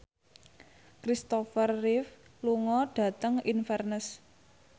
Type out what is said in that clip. Christopher Reeve lunga dhateng Inverness